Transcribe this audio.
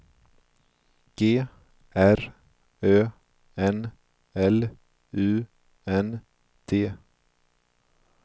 G R Ö N L U N D